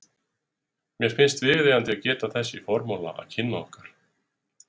Mér finnst viðeigandi að geta þess í formála að kynni okkar